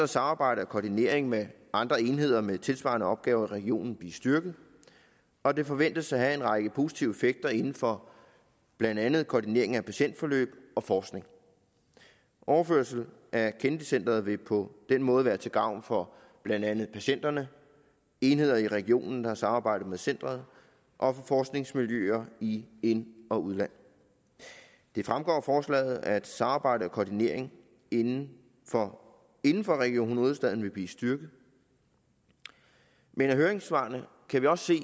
samarbejde og koordinering med andre enheder med tilsvarende opgaver i regionen blive styrket og det forventes at have en række positive effekter inden for blandt andet koordinering af patientforløb og forskning overførsel af kennedy centret vil på den måde være til gavn for blandt andet patienterne enheder i regionen deres samarbejde med centeret og for forskningsmiljøer i ind og udland det fremgår af forslaget at samarbejde og koordinering inden for inden for region hovedstaden vil blive styrket men af høringssvarene kan vi også se